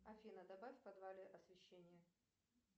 афина добавь в подвале освещение